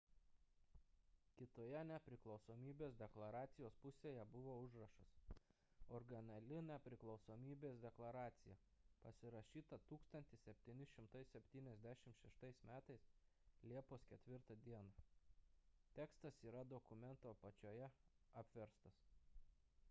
kitoje nepriklausomybės deklaracijos pusėje buvo užrašas originali nepriklausomybės deklaracija pasirašyta 1776 m liepos 4 d tekstas yra dokumento apačioje apverstas